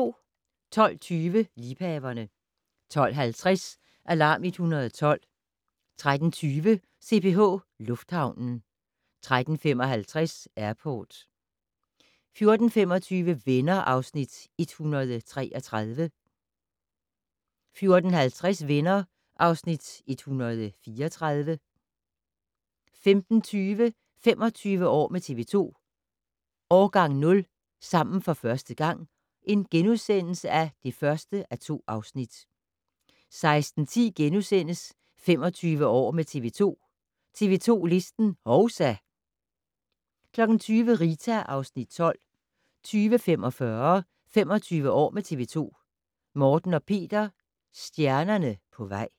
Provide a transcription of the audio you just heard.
12:20: Liebhaverne 12:50: Alarm 112 13:20: CPH Lufthavnen 13:55: Airport 14:25: Venner (Afs. 133) 14:50: Venner (Afs. 134) 15:20: 25 år med TV 2: Årgang 0 - sammen for første gang (1:2)* 16:10: 25 år med TV 2: TV 2 Listen - hovsa! * 20:00: Rita (Afs. 12) 20:45: 25 år med TV 2: Morten og Peter - stjernerne på vej